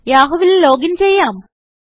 യാഹൂവിൽ loginചെയ്യാം